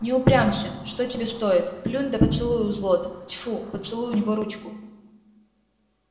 не упрямься что тебе стоит плюнь да поцелуй у злод тьфу поцелуй у него ручку